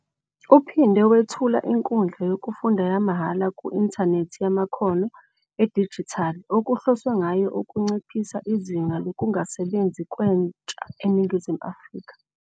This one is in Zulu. Uphinde wethula inkundla yokufunda yamahhala ku-inthanethi yamakhono edijithali okuhloswe ngayo ukunciphisa izinga lokungasebenzi kwentsha eNingizimu Afrika.